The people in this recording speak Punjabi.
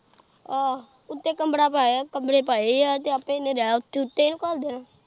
ਅਹ ਉੱਤੇ ਕਮਰਾ ਪਾਇਆ, ਕਮਰੇ ਪਾਏ ਐ ਤੇ ਆਪੇ ਇੰਨੇ ਰਹਿ ਉੱਥੇ ਉੱਤੇ ਇਨੂੰ ਘੱਲ ਦੇਣਾ।